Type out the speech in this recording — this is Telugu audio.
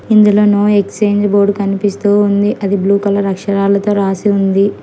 ఇందులో నో ఎక్స్చేంజ్ బోర్డు కనిపిస్తూ ఉంది అది బ్లూ కలర్ అక్షరాలతో రాసి ఉంది.